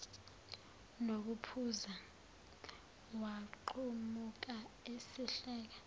nokuphuza waqhamuka esehleka